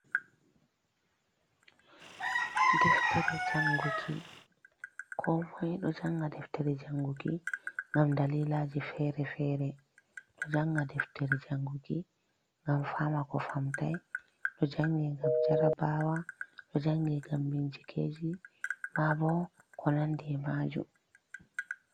Deftere janguki: Komoi ɗo janga deftere janguki ngam dalilaji fere-fere. Ɗo janga deftere janguki ngam fama ko famtai, ɗo jange ngam jarabawa, ɗo jange ngam bincikeji ma bo ko nandi e'majum.